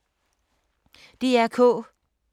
DR K